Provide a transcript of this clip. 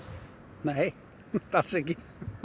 nei alls ekki